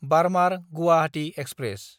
बार्मार–गुवाहाटी express